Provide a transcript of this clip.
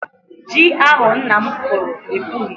Ji ahụ nna m kụrụ epughị.